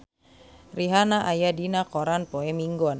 Rihanna aya dina koran poe Minggon